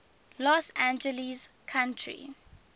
los angeles county